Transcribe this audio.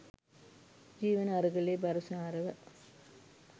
ජීවන අරගලය බරසාරව